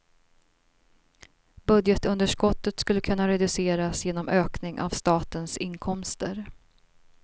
Budgetunderskottet skulle kunna reduceras genom ökning av statens inkomster.